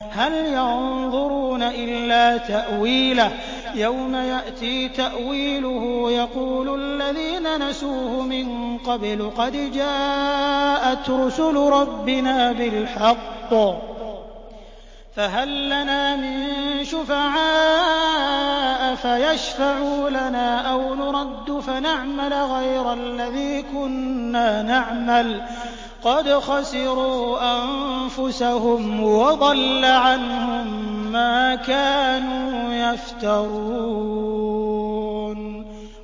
هَلْ يَنظُرُونَ إِلَّا تَأْوِيلَهُ ۚ يَوْمَ يَأْتِي تَأْوِيلُهُ يَقُولُ الَّذِينَ نَسُوهُ مِن قَبْلُ قَدْ جَاءَتْ رُسُلُ رَبِّنَا بِالْحَقِّ فَهَل لَّنَا مِن شُفَعَاءَ فَيَشْفَعُوا لَنَا أَوْ نُرَدُّ فَنَعْمَلَ غَيْرَ الَّذِي كُنَّا نَعْمَلُ ۚ قَدْ خَسِرُوا أَنفُسَهُمْ وَضَلَّ عَنْهُم مَّا كَانُوا يَفْتَرُونَ